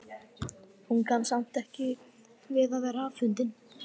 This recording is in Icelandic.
Hún kann samt ekki við að vera afundin.